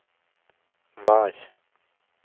vær